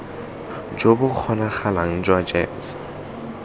jo bo kgonagalang jwa gems